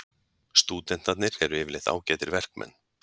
Stúdentarnir eru yfirleitt ágætir verkmenn.